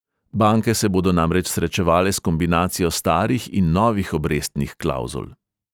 Banke se bodo namreč srečevale s kombinacijo starih in novih obrestnih klavzul.